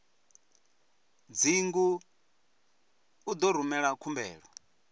dzingu u ḓo rumela khumbelo